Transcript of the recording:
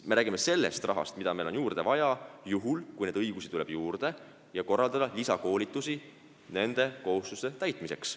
Me räägime rahast, mida meil on juurde vaja juhul, kui neid õigusi tuleb juurde, et korraldada lisakoolitusi nende kohustuste täitmiseks.